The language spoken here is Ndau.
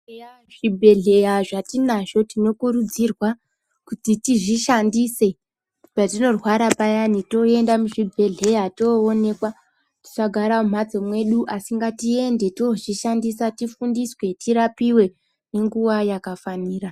Eya zvibhehleya zvetinazvo tinokurudzira kuti tizishandise patinorwara payani toenda muzvibhehleya toonekwa tisagara mumhatso mwedu asi ngatiende tozvishandise tirapiwe ngenguwa yakafanira